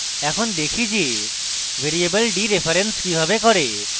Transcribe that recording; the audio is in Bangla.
এখন দেখি যে ভ্যারিয়েবল ডিরেফারেন্স কিভাবে করে